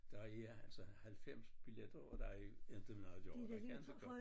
Der er altså 90 billetter og der er inte noget at gøre jeg kan inte gøre